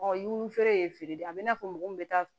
dumuni feere ye feere de ye a bɛ n'a fɔ mɔgɔ min bɛ taa